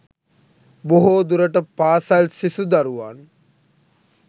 බොහෝ දුරට පාසල් සිසු දරුවන්